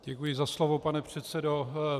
Děkuji za slovo, pane předsedo.